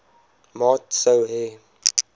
maat sou hê